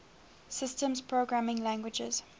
systems programming languages